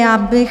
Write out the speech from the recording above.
Já bych...